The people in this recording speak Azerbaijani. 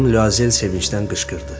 Xanım Luazel sevincdən qışqırdı.